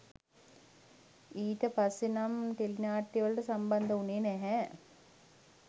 ඊට පස්සේ නම් ටෙලිනාට්‍යවලට සම්බන්ධ වුණේ නැහැ